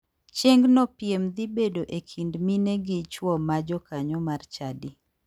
Chiengno piem dhi bedo e kind mine gi chuo ma jokanyo mar chadi.